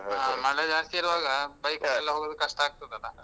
ಆ ಮಳೆ ಜಾಸ್ತಿ ಇರುವಾಗ. bike ಅಲ್ ಎಲ್ಲ ಹೋಗುದ್ ಕಷ್ಟ ಆಗ್ತದಲ್ಲಾ.